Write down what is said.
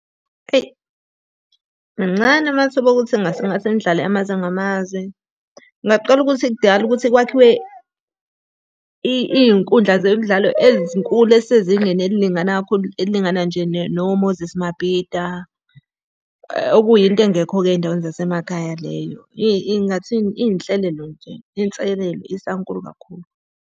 Eyi mancane amathuba okuthi kungase ngase nidlale amazwe ngamazwe. Kungaqala ukuthi kudingakala ukuthi kwakhiwe iy'nkundla zemidlalo ezinkulu ezisezingeni elilingana kakhulu, elilingana nje no-Moses Mabhida. Okuyinto engekho-ke ey'ndaweni zasemakhaya leyo. Ngingathini? Iy'nhlelelo nje, inselelo isankulu kakhulu.